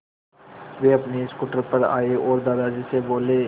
वे अपने स्कूटर पर आए और दादाजी से बोले